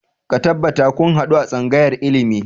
Ka tabbata kun haɗu a tsangayar ilimi!